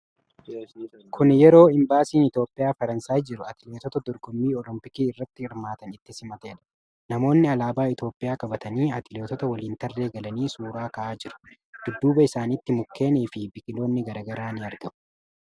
Kuni yeroo Imbaasiin Itoophiyaa Faransaayii jiru atileetota dorgommii olompikii irratti hirmaatan itti simateedha. Namoonni alaabaa Itoophiyaa qabatanii atileetota waliin tarree galanii suura ka'aa jiru. Dudduuba isaanitti mukkeenii fi biqiloonni garaa garaa ni argamu.